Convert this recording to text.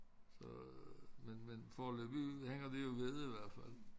Så men men foreløbigt hænger det jo ved i hvert fald